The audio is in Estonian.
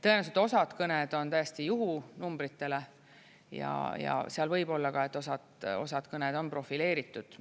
Tõenäoliselt osad kõned on täiesti juhunumbritele ja seal võib olla ka, et osad kõned on profileeritud.